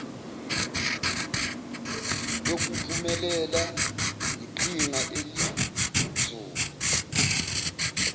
yokuphumelela yiqhinga elinzulu